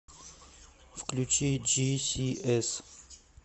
включи джисиэс